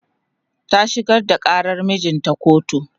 ta shigar da ƙarar mijinta kotu